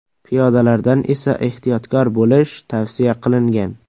Piyodalardan esa ehtiyotkor bo‘lish tavsiya qilingan.